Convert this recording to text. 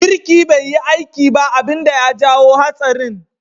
Birki bai yi aiki ba abin da ya jawo hatsarin.